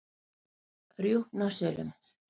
Rjúpnasölum